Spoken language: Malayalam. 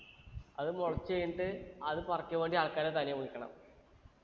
അത് മുളച്ചു കഴിഞ്ഞിട്ട് അത് പറിക്കാൻ വേണ്ടീട്ട് ആൾക്കാരെ തനിയെ വിളിക്കണം